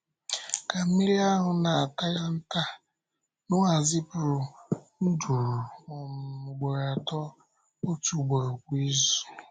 Ka mmiri ahụ na-atalata, Nọ́à zipụrụ nduru um ugboro atọ — otu ugboro kwa izu.